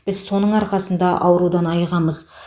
біз соның арқасында аурудан айығамыз